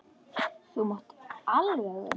Þú mátt alveg vera með.